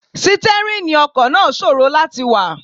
Sítẹ́rìnì ọkọ̀ náà ṣòro láti wà.